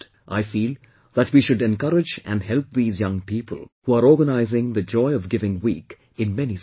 I feel that we should encourage and help these young people who are organising 'Joy of Giving Week' in many cities